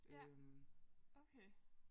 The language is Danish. Ja okay